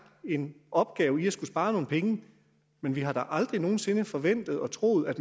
en opgave med at skulle spare nogle penge men vi har da aldrig nogen sinde forventet og troet at